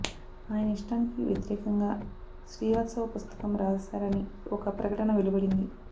ఆయన ఇష్టానికి వ్యతిరేకంగా శ్రీవాత్సవ పుస్తకం రాశారని ఒక ప్రకటన వెలువడింది